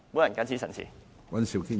我謹此陳辭。